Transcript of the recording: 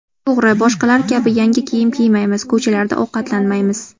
To‘g‘ri, boshqalar kabi yangi kiyim kiymaymiz, ko‘chalarda ovqatlanmaymiz.